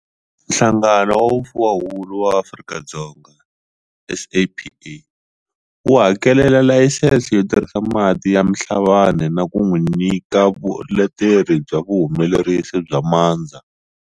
Nhlangano wa Vufuwahuku wa Afrika-Dzonga, SAPA, wu hakelela layisense yo tirhisa mati ya Mhlabane na ku n'wi nyika vuleteri bya vuhumelerisi bya mandza.